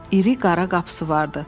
İri qara qapısı vardı.